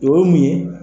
O ye mun ye